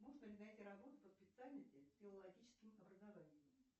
можно ли найти работу по специальности с филологическим образованием